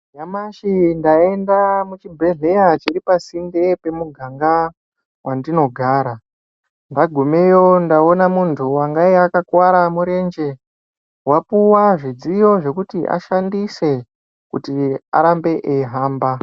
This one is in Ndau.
Nyamashi ndayenda muchibhedhlera chiri pasinde nepamuganga wandinogara ndagumeyo ndaona muntu wangaya akakukuwara murenje wapuwa zvidziyo zvekuti ashandise kuti arambe eihamba.